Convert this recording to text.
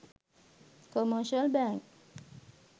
commercial bank